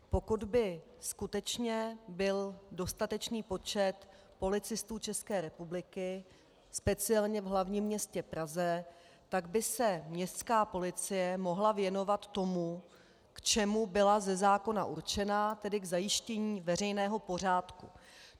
Pokud by skutečně byl dostatečný počet policistů České republiky, speciálně v hlavním městě Praze, tak by se městská policie mohla věnovat tomu, k čemu byla ze zákona určena, tedy k zajištění veřejného pořádku.